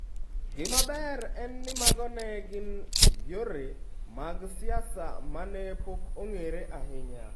Gima ber en ni, mago ne gin yore mag siasa ma ne pok ong'ere ahinya.